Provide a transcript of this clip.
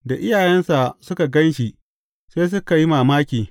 Da iyayensa suka gan shi sai suka yi mamaki.